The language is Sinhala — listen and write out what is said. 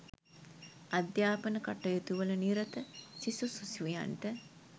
අධ්‍යාපන කටයුතුවල නිරත සිසු සිසුවියන්ට